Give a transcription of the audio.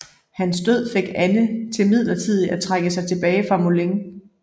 Hans død fik Anne til midlertidigt at trække sig tilbage til Moulins